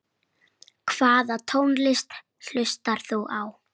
Hvaða tónlist hlustar þú á?